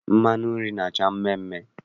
Mmanụ nri na-acha mmeemee.